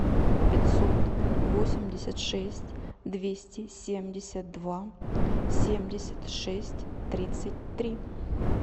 пятьсот восемьдесят шесть двести семьдесят два семьдесят шесть тридцать три